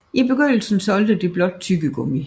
I begyndelsen solgte det blot tyggegummi